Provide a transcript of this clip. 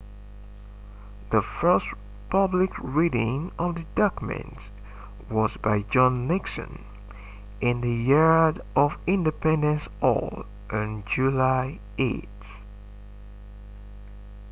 the first public reading of the document was by john nixon in the yard of independence hall on july 8